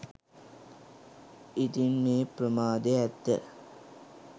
ඉතින් මේ ප්‍රමාදය ඇත්ත